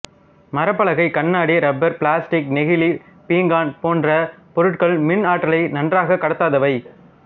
மரப்பலகை கண்ணாடி rubber plastic நெகிழி பீங்கான் போன்ற பொருட்கள் மின் ஆற்றலை நன்றாக கடத்தாதவை